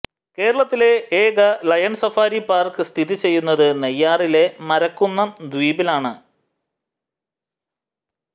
കേരളത്തിലെ ഏക lion safari park സ്ഥിതി ചെയ്യുന്നത് നെയ്യാറിലെ മരക്കുന്നം ദ്വീപിലാണ്